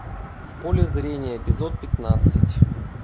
в поле зрения эпизод пятнадцать